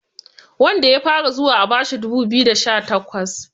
wanda ya fara zuwa a bashi dubu biyu da sha takwas